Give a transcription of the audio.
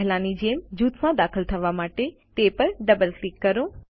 પહેલાંની જેમ જૂથમાં દાખલ થવા માટે તે પર ડબલ ક્લિક કરો